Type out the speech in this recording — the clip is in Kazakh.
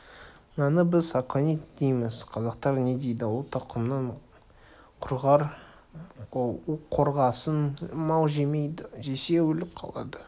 мынаны біз аконит дейміз қазақтар не дейді ол тұқымың құрғыр уқорғасын мал жемейді жесе өліп қалады